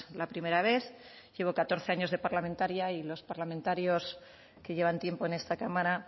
la primera vez llevo catorce años de parlamentaria y los parlamentarios que llevan tiempo en esta cámara